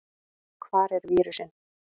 Hvar er vírusinn?